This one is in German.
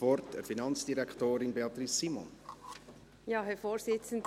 Ich erteile Finanzdirektorin Beatrice Simon das Wort.